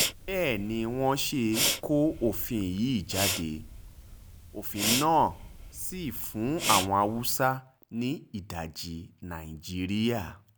bẹ́ẹ̀ ni wọ́n ṣe kọ òfin yìí jáde òfin náà sí fún àwọn haúsá ní ìdajì nàìjíríà